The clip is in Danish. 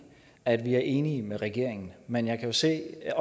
at vi er enige med regeringen men jeg kan jo se at